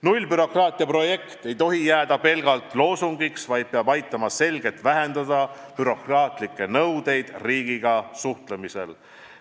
Nullbürokraatia projekt ei tohi jääda pelgalt loosungiks, vaid peab aitama selgelt vähendada bürokraatlikke nõudeid riigiga suhtlemisel.